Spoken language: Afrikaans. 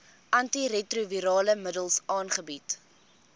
antiretrovirale middels aangebied